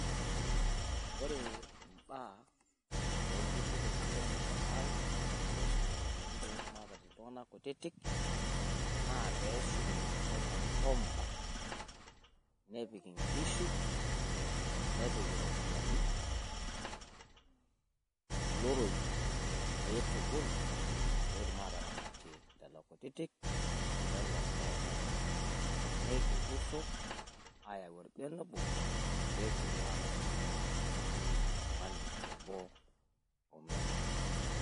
Ore imbaa oo ilturruri kutitik le murua ai oshumie irropiyiani pee etum aataret iltung'anak kutitik, naa pee eshumie entoki naji home bank. Nepik inkishu, nepik irropiyiani, iloroi, pee itubulu pee etum aataretie lelo kutitik o lelo oomena neiturruro ayau olbene obo pee etum aataret ilo tung'ani omena.